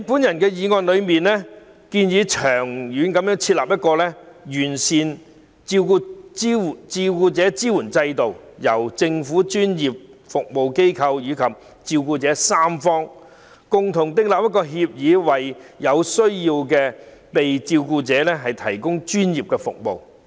我的議案建議長遠設立完善的照顧者支援制度，由政府、專業服務機構及照顧者三方共同訂立照顧服務協議，為有需要的被照顧者提供專業服務。